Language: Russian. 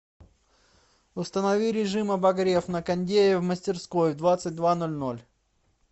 установи режим обогрев на кондее в мастерской в двадцать два ноль ноль